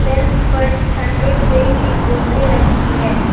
Shelf पर ठंडे पेय की बोतले रखी है।